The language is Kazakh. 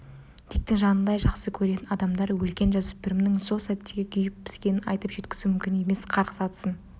диктің жанындай жақсы көретін адамдары өлген жасөспірімнің сол сәттегі күйіп-піскенін айтып жеткізу мүмкін емес қарғыс атсын